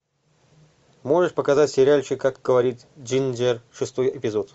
можешь показать сериальчик как говорит джинджер шестой эпизод